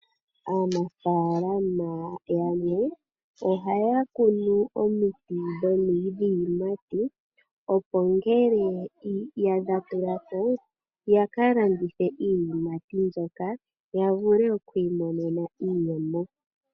Aantu yamwe ohaya landitha iinima ngaashi iihape mbyoka hayi liwa kaantu. Aantu ohaya yi komatala opo ya vuke okwii landela iihape yawo.